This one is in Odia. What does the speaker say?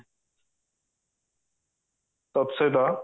ତତସହିତ